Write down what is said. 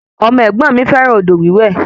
Ọmọ ẹ̀gbọ́n mi fẹràn odò wiwè